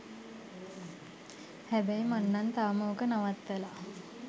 හැබැයි මං නං තාම ඕක නවත්තලා